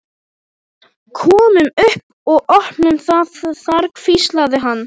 Komum upp og opnum það þar hvíslaði hann.